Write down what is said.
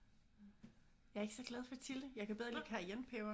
Jeg er ikke så glad for chili jeg kan bedre lide cayennepeber